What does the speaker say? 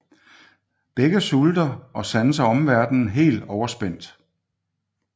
Begge sulter og sanser omverdenen helt overspændt